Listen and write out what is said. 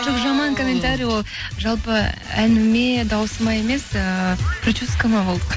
жоқ жаман комментария ол жалпы әніме даусыма емес ыыы прическама болды